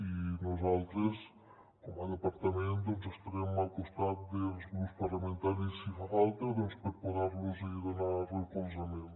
i nosaltres com a departament estarem al costat dels grups parlamentaris si fa falta per poder los donar recolzament